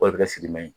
O de bɛ kɛ sidimɛ ye